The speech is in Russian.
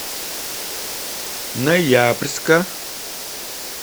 ноябрьска